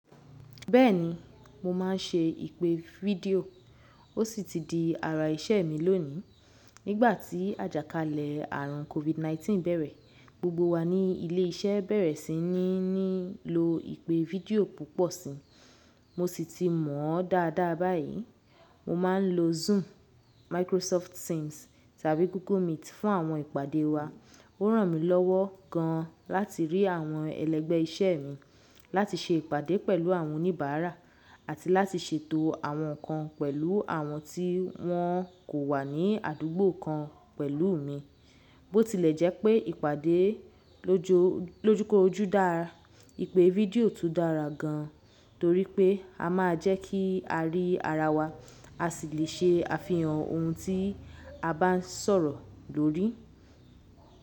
Bẹ́ẹ̀ni, mo má n ṣe ìpè fídíò, ó sì ti di ara iṣẹ́ mi lónìí. Nígbà tí àjàkálẹ̀ àrùn COVID-19 bẹ̀rẹ̀, gbogbo wa ní ilé iṣẹ́ bẹ̀rẹ̀ sí ní nílo ìpè fídíò púpọ̀ sí i. Mo sì ti mọ̀ ọ́ dáadáa báyìí. Mo má n lo Zoom, Microsoft Teams tàbí Google Meet fún àwọn ìpàdé wa. Ó ràn mí lọ́wọ́ gan láti rí àwọn ẹlẹ́gbẹ́ iṣẹ́ mi, láti ṣe ìpàdé pẹ̀lú àwọn oníbàárà àti láti ṣètò àwọn nǹkan pẹ̀lú àwọn tí wọn kò wà ní àdúgbò kan pẹ̀lú mi. Bó tilẹ̀ jẹ́ pé ìpàdé lójoo, lojukoju dáa, ìpè fídíò tún dára gan, torí pé a máa jẹ́ kí a rí ara wa, a sì le ṣe àfihàn ohun tí a bá n sọ̀rọ̀ lórí.